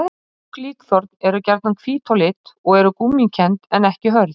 Lýttur er sá sem ekki fylgir lands siðum.